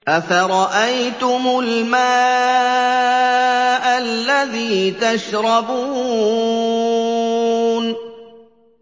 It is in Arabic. أَفَرَأَيْتُمُ الْمَاءَ الَّذِي تَشْرَبُونَ